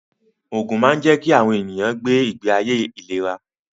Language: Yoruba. Ògùn máa ń jẹ́ kí àwọn ènìyàn gbé ìgbé ayé ìléra